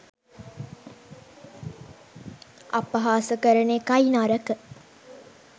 අපහාස කරන එකයි නරක